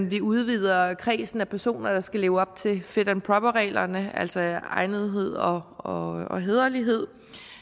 vi udvider kredsen af personer der skal leve op til fit and proper reglerne altså egnethed og hæderlighed